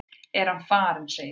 Er hann farinn, segirðu?